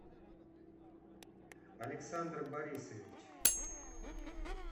александр борисович